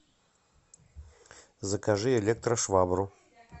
закажи электрошвабру